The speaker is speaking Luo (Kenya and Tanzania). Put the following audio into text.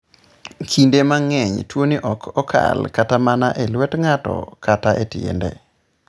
Kinde mang'eny, tuwoni ok okal kata mana e lwet ng'ato kata e tiende.